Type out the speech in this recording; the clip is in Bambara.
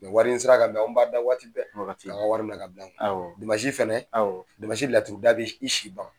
wari in sera ka bɛn an b'a da waati bɛɛ. Wagati bɛɛ. k'an ka wari minɛ ka bila an kun. Awɔ. Dimasi fɛnɛ, awɔ, damansi laturu da bɛ i si ban.